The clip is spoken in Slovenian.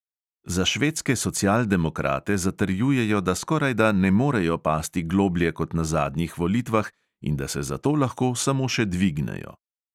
Za švedske socialdemokrate zatrjujejo, da skorajda ne morejo pasti globlje kot na zadnjih volitvah in da se zato lahko samo še dvignejo.